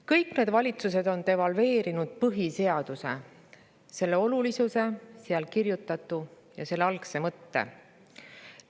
Kõik need valitsused on devalveerinud põhiseaduse, selle olulisuse, seal kirjutatu ja selle algse mõtte.